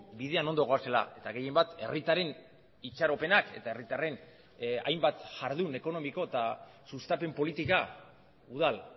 bidean ondo goazela eta gehienbat herritarren itxaropenak eta herritarren hainbat jardun ekonomiko eta sustapen politika udal